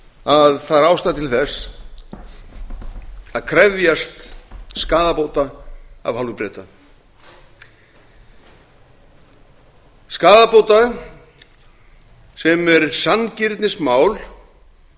að það er ástæða til þess að krefjast skaðabóta af hálfu breta skaðabóta sem er sanngirnismál